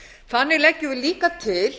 þannig leggjum við líka til